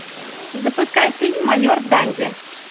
запускай фильм майор данди